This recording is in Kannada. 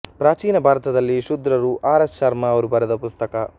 ಪ್ರಾಚೀನ ಭಾರತದಲ್ಲಿ ಶೂದ್ರರು ಆರ್ ಎಸ್ ಶರ್ಮ ಅವರು ಬರೆದ ಪುಸ್ತಕ